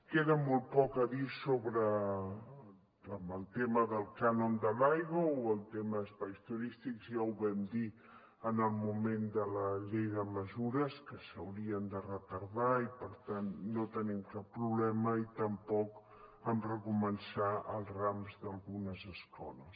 queda molt poc a dir en el tema del cànon de l’aigua o el tema espais turístics ja ho vam dir en el moment de la llei de mesures que s’haurien de retardar i per tant no hi tenim cap problema i tampoc en recomençar els rams d’algunes escoles